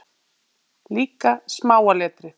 Líka smáa letrið.